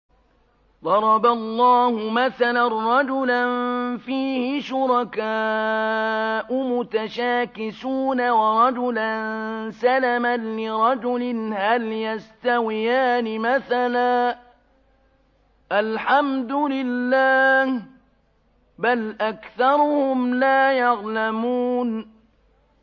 ضَرَبَ اللَّهُ مَثَلًا رَّجُلًا فِيهِ شُرَكَاءُ مُتَشَاكِسُونَ وَرَجُلًا سَلَمًا لِّرَجُلٍ هَلْ يَسْتَوِيَانِ مَثَلًا ۚ الْحَمْدُ لِلَّهِ ۚ بَلْ أَكْثَرُهُمْ لَا يَعْلَمُونَ